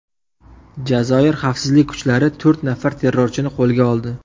Jazoir xavfsizlik kuchlari to‘rt nafar terrorchini qo‘lga oldi.